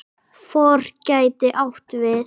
FOR gæti átt við